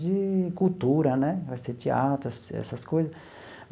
de cultura né, vai ser teatro, essa essas coisas.